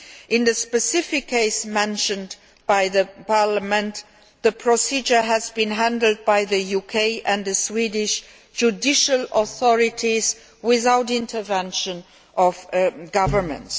In the specific case mentioned by Parliament, the procedure has been handled by the UK and Swedish judicial authorities without intervention of governments.